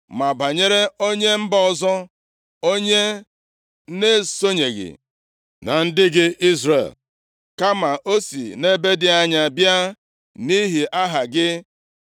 “Ma banyere onye mba ọzọ, onye na-esonyeghị na ndị gị Izrel, kama o si nʼala ebe dị anya bịa nʼihi Aha gị,